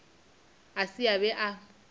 a se a be a